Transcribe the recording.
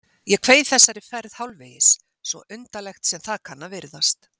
Ég kveið þessari ferð hálfvegis, svo undarlegt sem það kann að virðast